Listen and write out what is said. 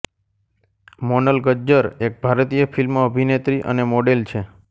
Monel Gajjar એક ભારતીય film અભિનેત્રી અને મોડેલ છે